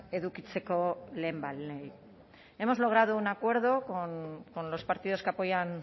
edukitzeko lehenbailehen hemos logrado un acuerdo con los partidos que apoyan